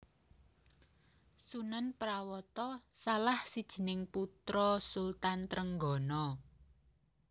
Sunan Prawata salah sijining putra Sultan Trenggana